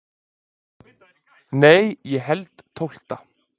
Nei ég held tólfta.